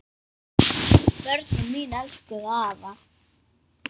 Börnin mín elskuðu afa.